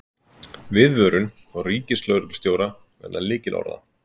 Viðvörun frá ríkislögreglustjóra vegna lykilorða